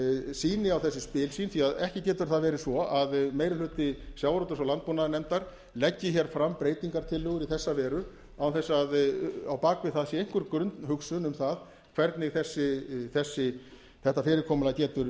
sýni á þessi spil sín því að ekki getur það verið svo að meiri hluti sjávarútvegs og landbúnaðarnefndar leggi hér fram breytingartillögur í þessa veru án þess að á bak við sé einhver grunnhugsun um það hvernig þetta fyrirkomulag getur